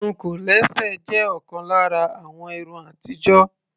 Irun kòlẹ́sẹ̀ jé òkan lára àwọn irun atijo.